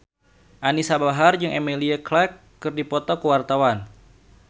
Anisa Bahar jeung Emilia Clarke keur dipoto ku wartawan